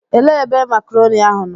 Elee ebe makrọni ahụ nọ?